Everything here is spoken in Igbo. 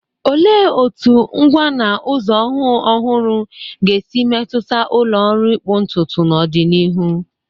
Olee otú ngwa na ụzọ ọhụụ ọhụrụ ga-esi metụta ụlọ ọrụ ịkpụ ntutu n'ọdịnihu?